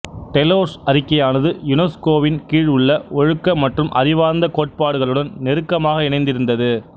டெலோர்ஸ் அறிக்கையானது யுனெஸ்கோவின் கீழ் உள்ள ஒழுக்க மற்றும் அறிவார்ந்த கோட்பாடுகளுடன் நெருக்கமாக இணைந்திருந்தது